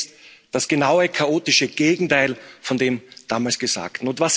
Wir erleben jetzt das genaue chaotische Gegenteil von dem damals Gesagten.